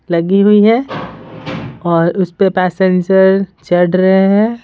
लगी हुई है और उस पे पैसेंजर चढ़ रहे हैं।